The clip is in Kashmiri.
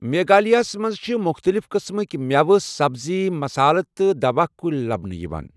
میگھالیہ منٛز چھِ مُختلِف قٕسمٕک مٮ۪وٕ، سبزی، مصالَہٕ تہٕ دوہ کُلۍ لَبنہٕ یِوان۔